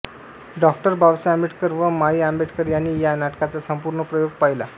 doctor Babasaheb Ambedkar व माई आंबेडकर यांनी या नाटकाचा संपूर्ण प्रयोग पहिला